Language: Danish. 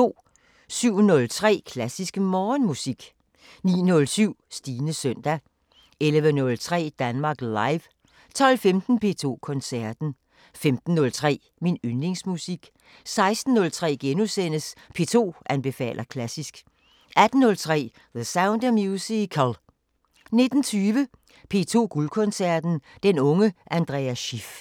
07:03: Klassisk Morgenmusik 09:07: Stines søndag 11:03: Danmark Live 12:15: P2 Koncerten 15:03: Min Yndlingsmusik 16:03: P2 anbefaler klassisk * 18:03: The Sound of Musical 19:20: P2 Guldkoncerten: Den unge Andras Schiff